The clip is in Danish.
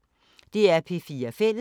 DR P4 Fælles